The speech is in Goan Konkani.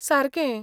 सारकें!